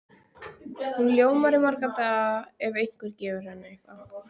Hún ljómar í marga daga ef einhver gefur henni eitthvað.